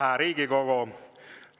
Hääd päivä, hää Riigikogo!